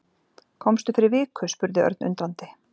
Komstu fyrir viku? spurði Örn undrandi.